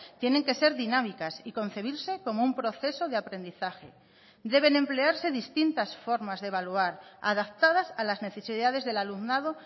tienen que ser dinámicas y concebirse como un proceso de aprendizaje deben emplearse distintas formas de evaluar adaptadas a las necesidades del alumnado